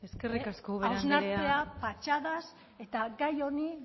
hausnartzea patxadaz eta gai honi